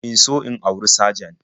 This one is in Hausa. In so in auri sajan